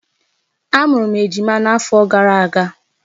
Amụrụ m ejima n'afọ gara aga.